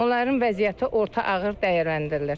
Onların vəziyyəti orta ağır dəyərləndirilir.